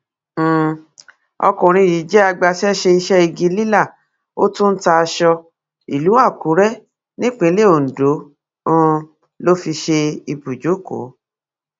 um ọkùnrin yìí jẹ agbaṣẹṣe iṣẹ igi lílà ó tún ń ta aṣọ ìlú àkùrè nípìnlẹ ondo um ló fi ṣe ibùjókò